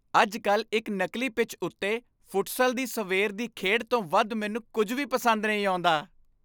ਅੱਜ ਕੱਲ੍ਹ ਇੱਕ ਨਕਲੀ ਪਿੱਚ ਉੱਤੇ ਫੁਟਸਲ ਦੀ ਸਵੇਰ ਦੀ ਖੇਡ ਤੋਂ ਵੱਧ ਮੈਨੂੰ ਕੁੱਝ ਵੀ ਪਸੰਦ ਨਹੀਂ ਆਉਂਦਾ